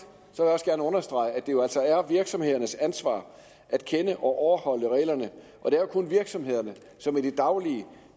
jeg også godt understrege at det jo altså er virksomhedernes ansvar at kende og overholde reglerne og det er kun virksomhederne som i det daglige